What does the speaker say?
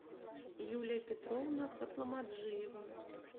юлия петровна хатламаджиева